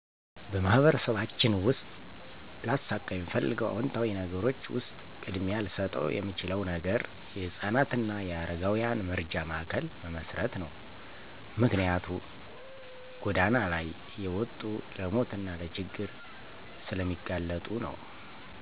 በማህበረሰባችን ውስጥ ላሳካ የምፈልገው አወንታዊ ነገሮች ውሰጥ ቅድሚያ ልሰጠው የምችለው ነገር የህፃናት አና የአረጋውያን መረጃ ማእከል መመሰረት ነው። ምክንያትም ጎዳና ላይ እየወጡ ለሞት አና ለችግር ስለሚጋለጡ ነው።